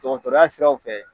Dɔgɔtɔrɔya siraw fɛ.